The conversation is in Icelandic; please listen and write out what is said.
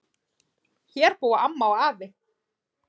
Hér búa amma og afi.